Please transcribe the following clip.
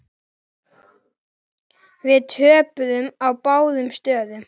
Við töpuðum á báðum stöðum.